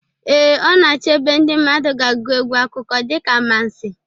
Ee, ọ na-achọ ebe ndị mmadụ ga-agụ egwu akụkọ dịka amansi